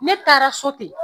Ne taara so ten